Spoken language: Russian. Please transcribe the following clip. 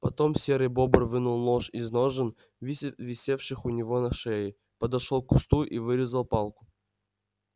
потом серый бобр вынул нож из ножен висевших у него на шее подошёл к кусту и вырезал палку